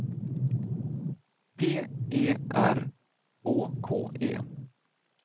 P E R Å K E